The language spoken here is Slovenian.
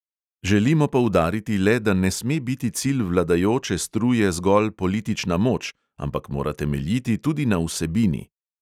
Želimo poudariti le, da ne sme biti cilj vladajoče struje zgolj politična moč, ampak mora temeljiti tudi na vsebini.